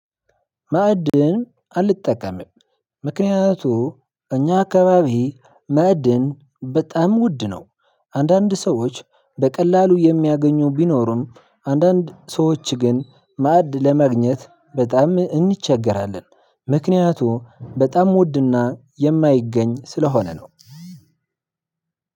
ማዕድን አልጠቀምም ምክንያቱም እኛ አካባቢ ማዕድን በጣም ውድ ነው። አንዳንድ ሰዎች በቀላሉ የሚያገኙ ቢኖሩም አንዳንድ ሰዎች ግን ማዕድን ለማግኘት በጣም እንቸገራለን ምክንያቱም በጣም ውድና የማይገኝ ስለሆነ ነው።